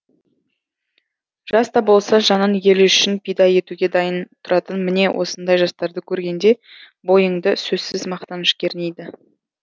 жаста болса жанын елі үшін пида етуге дайын тұратын міне осындай жастарды көргенде бойыңды сөзсіз мақтаныш кернейді